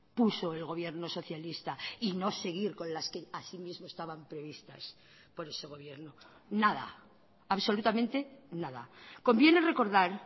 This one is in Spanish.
puso el gobierno socialista y no seguir con las que así mismo estaban previstas por ese gobierno nada absolutamente nada conviene recordar